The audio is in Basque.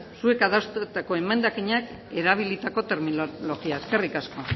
zuek adostutako emendakinean erabilitako terminologia eskerrik asko